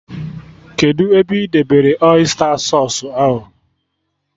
Kedụ ebe ị debere ọysta sausụ ahụ?